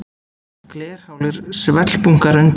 Glerhálir svellbunkar undir.